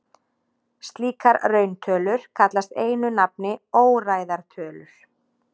Slíkar rauntölur kallast einu nafni óræðar tölur.